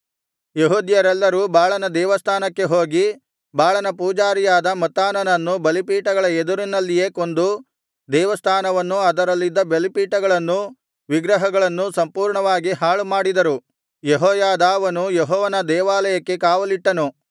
ಯೆಹೂದ್ಯರೆಲ್ಲರೂ ಬಾಳನ ದೇವಸ್ಥಾನಕ್ಕೆ ಹೋಗಿ ಬಾಳನ ಪೂಜಾರಿಯಾದ ಮತ್ತಾನನನ್ನು ಬಲಿಪೀಠಗಳ ಎದುರಿನಲ್ಲಿಯೇ ಕೊಂದು ದೇವಸ್ಥಾನವನ್ನೂ ಅದರಲ್ಲಿದ್ದ ಬಲಿಪೀಠಗಳನ್ನೂ ವಿಗ್ರಹಗಳನ್ನೂ ಸಂಪೂರ್ಣವಾಗಿ ಹಾಳುಮಾಡಿದರು ಯೆಹೋಯಾದಾವನು ಯೆಹೋವನ ದೇವಾಲಯಕ್ಕೆ ಕಾವಲಿಟ್ಟನು